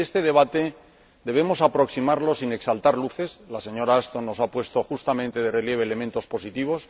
Y este debate debemos abordarlo sin exaltar luces —la señora Ashton nos ha puesto justamente de relieve elementos positivos